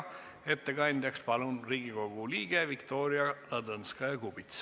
Ettekandeks palun kõnetooli Riigikogu liikme Viktoria Ladõnskaja-Kubitsa.